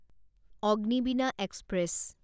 Agnibina express